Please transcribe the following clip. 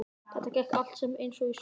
Þetta gekk allt saman eins og í sögu.